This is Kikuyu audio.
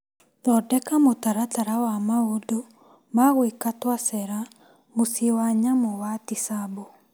Thondeka mũtaratara wa maũndũ ma gwĩka twacera muciĩ wa nyamũ wa Tisabo.